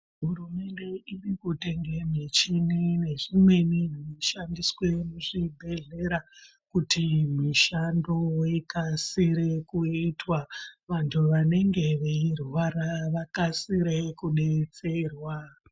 Hurumende irikutenge michini nezvimweni zvinoshandiswe muzvibhedhlera kuti mishando ikasire kuitwa vantu vanenge veirwara vakasire kudetserwa.